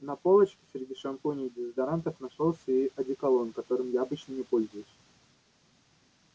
на полочке среди шампуней и дезодорантов нашёлся и одеколон которым я обычно не пользуюсь